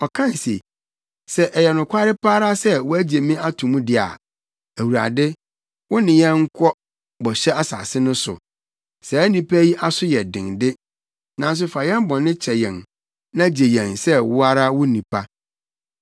Ɔkae se, “Sɛ ɛyɛ nokware pa ara sɛ woagye me ato mu de a, Awurade, wo ne yɛnkɔ bɔhyɛ asase no so. Saa nnipa yi aso yɛ den de, nanso fa yɛn bɔne kyɛ yɛn na gye yɛn sɛ wo ara wo nnipa.”